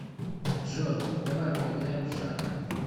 джой давай поиграем в шахматы